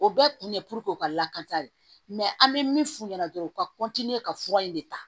O bɛɛ kun ye o ka lakana de mɛ an bɛ min f'u ɲɛna dɔrɔn u ka ka fura in de ta